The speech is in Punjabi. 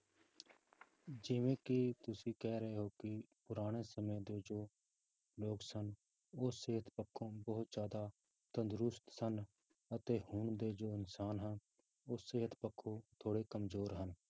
ਜਿਵੇਂ ਕਿ ਤੁਸੀਂ ਕਹਿ ਰਹੇ ਹੋ ਕਿ ਪੁਰਾਣੇ ਸਮੇਂ ਦੇ ਜੋ ਲੋਕ ਸਨ ਉਹ ਸਿਹਤ ਪੱਖੋਂ ਬਹੁਤ ਤੰਦਰੁਸਤ ਸਨ ਅਤੇ ਹੁਣ ਦੇ ਜੋ ਇਨਸਾਨ ਹਨ, ਉਹ ਸਿਹਤ ਪੱਖੋਂ ਥੋੜ੍ਹੇ ਕੰਮਜ਼ੋਰ ਹਨ।